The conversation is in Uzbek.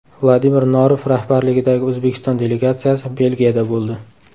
Vladimir Norov rahbarligidagi O‘zbekiston delegatsiyasi Belgiyada bo‘ldi.